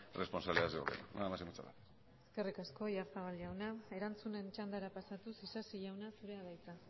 responsabilidades del gobierno nada más y muchas gracias eskerrik asko oyarzabal jaunak erantzunen txandara pasatuz isasi jauna zurea da hitza